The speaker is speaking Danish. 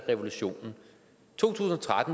en person